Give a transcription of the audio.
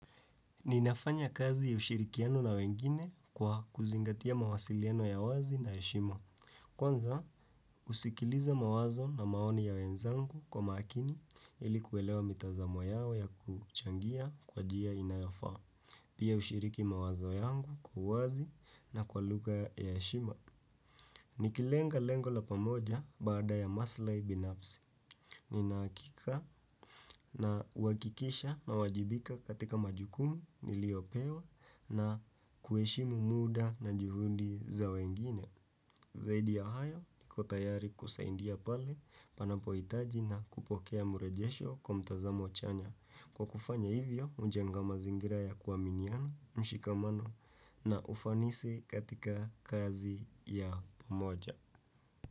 Ninafanya kazi ya ushirikiano na wengine kwa kuzingatia mawasiliano ya wazi na ya heshima. Kwanza, usikiliza mawazo na maoni ya wenzangu kwa makini ili kuelewa mitazamo yao ya kuchangia kwa jia inayofaa. Pia ushiriki mawazo yangu kwa wazi na kwa lugha ya eshima. Nikilenga lengo la pamoja baada ya maslai binafsi. Nina akika na wakikisha na wajibika katika majukumi nilio pewa na kueshimu muda na juhundi za wengine. Zaidi ya hayo niko tayari kusaidia pale panapo itaji na kupokea murejesho kwa mtazamo chanya. Kwa kufanya hivyo, ujenga mazingira ya kuaminiana, mshikamano na ufanisi katika kazi ya pamoja.